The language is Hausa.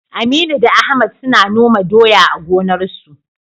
Aminu da Ahmad suna noma doya a gonarsu.